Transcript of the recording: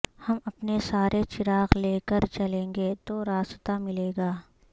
ہم اپنے سارے چراغ لے کر چلیںگے تو راستا ملے گا